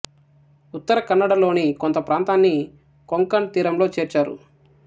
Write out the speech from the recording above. ఉత్తర కన్నడ లోని కొంత ప్రాంతాన్ని కొంకణ్ తీరంలో చేర్చారు